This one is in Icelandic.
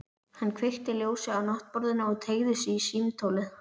Hann kveikti ljósið á náttborðinu og teygði sig í símtólið.